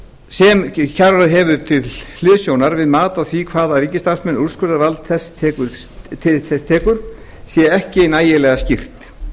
sem kjararáð hefur til hliðsjónar við mat á því til hvaða ríkisstarfsmanna úrskurðarvald þess tekur sé ekki nægilega skýrt